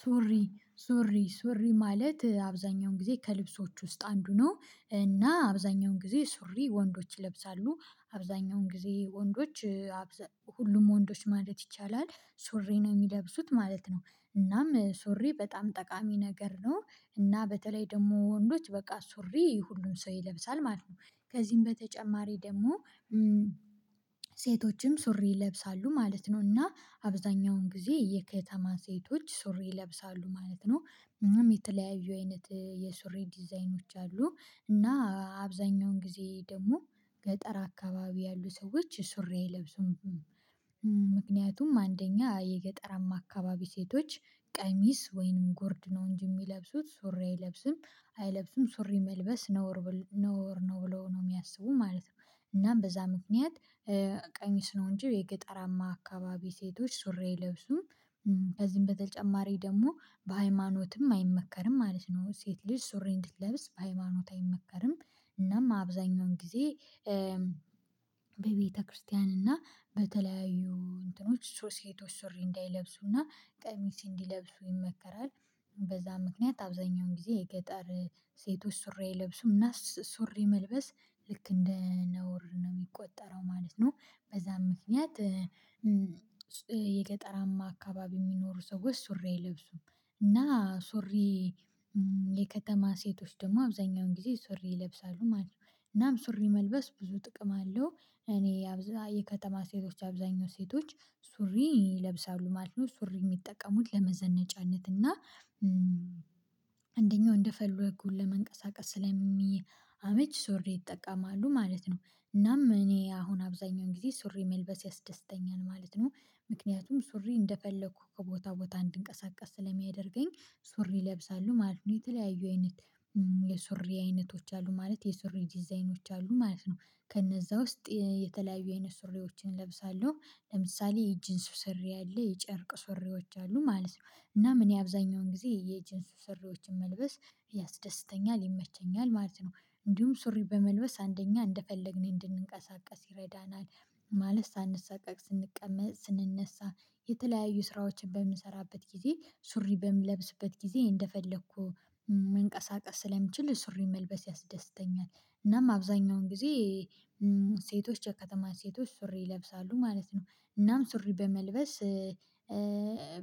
ሱሪ ሱሪ ሱሪ ማለት አብዛኛውን ጊዜ ከልብሶች ውስጥ አንዱ ነው እና አብዛኛውን ጊዜ ሱሪ ወንዶች ይለብሳሉ አብዛኛውን ጊዜ ወንዶች ሁሉም ወንዶች ማለት ይቻላል ሱሪ ነው የሚለብሱት ማለት ነው። እናም ሱሪ በጣም ጠቃሚ ነገር ነው እና በተለይ ደግሞ ወንዶች በቃ ሱሪ ሁሉም ሰው ይለብሳል ማለት ነው። ከዚህም በተጨማሪ ደግሞ ሴቶችም ሱሪ ይለብሳሉ ማለት ነው እና አብዛኛውን ጊዜ የከተማ ሴቶች ሱሪ ይለብሳሉ ማለት ነው። እናም የተለያዩ አይነት የሱሪ ዲዛይኖች አሉ እና አብዛኛውን ጊዜ ደግሞ ገጠር አካባቢ ያሉ ሰዎች ሱሪ አይለብሱም። ምክንያቱም አንደኛ የገጠራማ አካባቢ ሴቶች ቀሚስ ወይንም ጉርድ ነው እንጂ የሚለብሱት ሱሪ አይለብስም አይለብሱም ሱሪ መልበስ ነውር ነውር ነው ብለው ነው የሚያስቡ ማለት ነው። እናም በዛ ምክንያት ቀሚስ ነው እንጂ የገጠራማ አካባቢ ሴቶች ሱሪ አይለብሱም። ከዚህም በተጨማሪ ደግሞ በሃይማኖትም አይመከርም ማለት ነው ሴት ልጅ ሱሪ እንድትለብስ በሃይማኖት አይመከርም። እናም አብዛኛውን ጊዜ በቤተክርስቲያን እና በተለያዩ እንትኖች ሴቶች ሱሪ እንዳይለብሱና ቀሚስ እንዲለብሱ ይመከራል። በዛ ምክንያት አብዛኛውን ጊዜ የገጠር ሴቶች ሱሪ አይለብሱም እና ሱሪ መልበስ ልክ እንደ ነውር ነው የሚቆጠረው ማለት ነው። በዛም ምክንያት የገጠራማ አካባቢ የሚኖሩ ሰዎች ሱሬ አይለብሱም። እና ሱሪ የከተማ ሴቶች ደግሞ አብዛኛውን ጊዜ ሱሪ ይለብሳሉ ማለት ነው። እናም ሱሪ መልበስ ብዙ ጥቅም አለው እኔ የከተማ ሴቶች አብዛኛው ሴቶች ሱሪ ይለብሳሉ ማለት ነው ሱሪ የሚጠቀሙት ለመዘነጫነት እና አንደኛው እንደፈለጉ ለመንቀሳቀስ ስለሚያመች ሱሪ ይጠቀማሉ ማለት ነው። እናም እኔ አሁን አብዛኛውን ጊዜ ሱሪ መልበስ ያስደስተኛል ማለት ነው። ምክንያቱም ሱሪ እንደፈለኩ ከቦታ ቦታ እንድንቀሳቀስ ስለሚያደርገኝ ሱሪ እለብሳለሁ ማለት ነው። የተለያዩ አይነት የሱሪ አይነቶች አሉ ማለት የሱሪ ዲዛይኖች አሉ ማለት ነው። ከነዛ ውስጥ የተለያዩ አይነት ሱሪዎችን እለብሳለሁ ለምሳሌ የጅንስ ሱሪ አለ የጨርቅ ሱሪዎች አሉ ማለት ነው። እናም እኔ አብዛኛውን ጊዜ የጅንስ ሱሪዎችን መልበስ ያስደስተኛል ይመቸኛል ማለት ነው። እንዲሁም ሱሪ በመልበስ አንደኛ እንደፈለግን እንድንቀሳቀስ ይረዳናል። ማለት ሳንሳቀቅ ስንቀመጥ ስንነሳ የተለያዩ ስራዎችን በምሰራበት ጊዜ ሱሪ በምለብስበት ጊዜ እንደፈለኩ መንቀሳቀስ ስለምችል ሱሪ መልበስ ያስደስተኛል። እናም አብዛኛውን ጊዜ ሴቶች የከተማ ሴቶች ሱሪ ይለብሳሉ ማለት ነው። እናም ሱሪ በመልበስ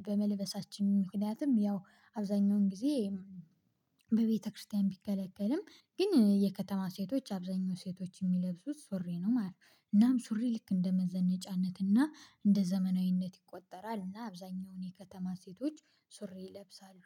በመልበሳችን ምክንያትም ያው አብዛኛውን ጊዜ በቤተክርስቲያን ቢከለከልም ግን የከተማ ሴቶች አብዛኛው ሴቶች የሚለብሱት ሱሪ ነው ማለት ነው። እናም ሱሪ ልክ እንደ መዘነጫነትና እንደ ዘመናዊነት ይቆጠራል። እና አብዛኛውን የከተማ ሴቶች ሱሪ ይለብሳሉ።